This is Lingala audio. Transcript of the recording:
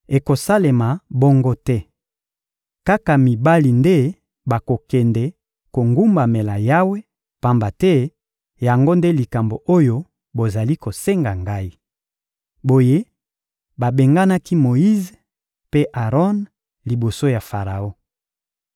Ekosalema bongo te! Kaka mibali nde bakokende kogumbamela Yawe, pamba te yango nde likambo oyo bozali kosenga ngai. Boye babenganaki Moyize mpe Aron liboso ya Faraon.